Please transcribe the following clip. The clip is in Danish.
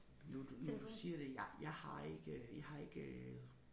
Nu du nu du siger det jeg jeg har ikke jeg har ikke